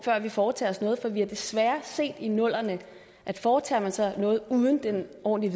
vi foretager os noget for vi har desværre set i nullerne at foretager man sig noget uden at have ordentlig